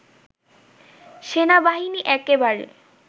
সেনাবাহিনী একেবারে